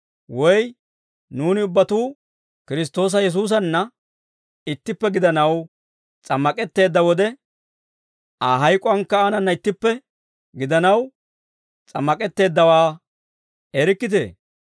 Woy nuuni ubbatuu Kiristtoosa Yesuusanna ittippe gidanaw, s'ammak'etteedda wode, Aa hayk'uwaankka aanana ittippe gidanaw s'ammak'etteeddawaa erikkitee?